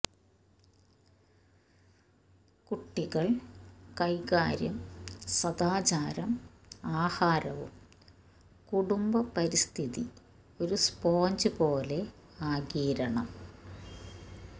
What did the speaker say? കുട്ടികൾ കൈകാര്യം സദാചാരം ആഹാരവും കുടുംബ പരിസ്ഥിതി ഒരു സ്പോഞ്ച് പോലെ ആഗിരണം